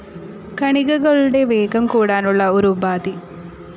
കണികകളുടെ വേഗം കൂടാനുള്ള ഒരു ഉപാധി.